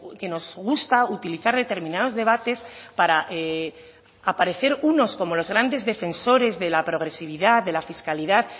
que nos gusta utilizar determinados debates para aparecer unos como los grandes defensores de la progresividad de la fiscalidad